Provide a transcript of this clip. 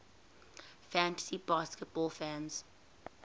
fantasy baseball fans